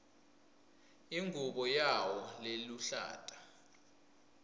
ingubo yawo leluhlata